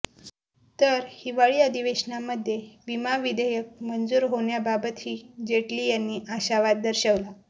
तर हिवाळी अधिवेशनामध्ये विमा विधेयक मंजूर होण्याबाबतही जेटली यांनी आशावाद दर्शवला